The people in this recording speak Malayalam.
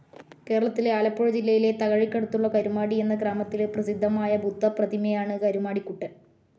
കേരളത്തിലെ ആലപ്പുഴ ജില്ലയിലെ തകഴിക്കടുത്തുള്ള കരുമാടി എന്ന ഗ്രാമത്തിലെ പ്രസിദ്ധമായ ബുദ്ധപ്രതിമയാണ് കരുമാടിക്കുട്ടൻ.